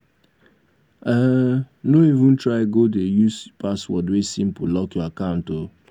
um no even try go dey use password wey simple lock your account o.